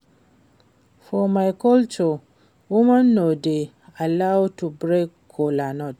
For my culture women no dey allowed to break kola nut